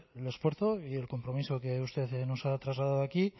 el esfuerzo y el compromiso que usted nos ha trasladado aquí